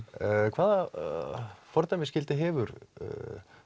hvaða fordæmisgildi hefur